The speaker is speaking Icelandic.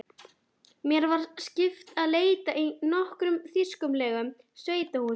Mér var skipað að leita í nokkrum þýskulegum sveitahúsum.